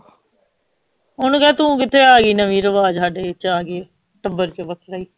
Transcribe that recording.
ਓਹਨੂੰ ਕਹਿ ਤੂੰ ਕਿਥੇ ਆਗੀ ਨਵੀਂ ਰਿਵਾਜ ਹਾਡੇ ਚ ਆਗੀ ਟੱਬਰ ਚ